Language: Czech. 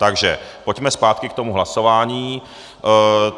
Takže pojďme zpátky k tomu hlasování.